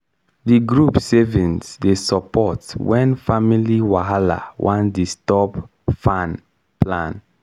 di group savings dey support wen family wahala wan disturb farm plan.